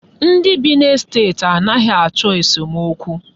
Ndị bi n'estet a naghị achọ esomokwu.